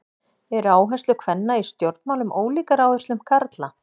Eru áherslur kvenna í stjórnmálum ólíkar áherslum karla?